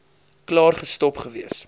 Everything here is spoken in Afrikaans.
klaar gestop gewees